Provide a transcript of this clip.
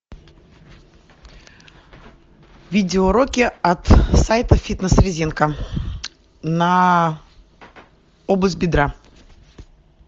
видеоуроки от сайта фитнес резинка на область бедра